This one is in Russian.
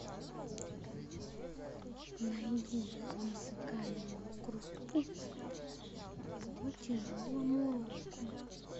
найди музыкальную группу по тяжелому року